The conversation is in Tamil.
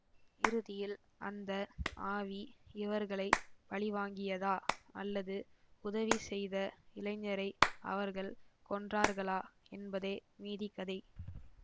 இறுதியில் அந்த ஆவி இவர்களை பழிவாங்கியதா அல்லது உதவி செய்த இளைஞரை அவர்கள் கொன்றார்களா என்பதே மீதி கதை